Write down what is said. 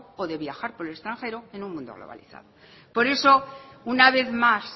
o de viajar por el extranjero en un mundo globalizado por eso una vez más